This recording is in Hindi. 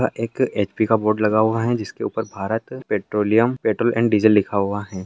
एक एच.पी. का बोर्ड लगा हुआ है जिसके ऊपर Bharat petroleum petrol and diesel लिखा हुआ है।